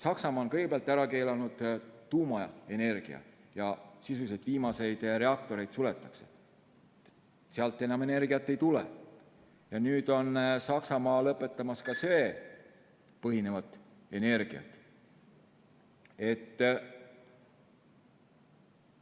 Saksamaa on kõigepealt ära keelanud tuumaenergia, sisuliselt suletakse viimaseid reaktoreid, sealt enam energiat ei tule, ja nüüd on Saksamaa lõpetamas ka söel põhineva energia tootmist.